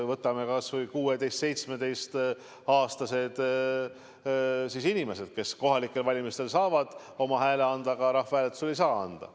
Võtame kas või 16–17-aastased inimesed, kes kohalikel valimistel saavad oma hääle anda, aga rahvahääletusel ei saa anda.